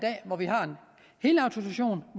helautorisation